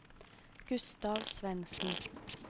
Gustav Svendsen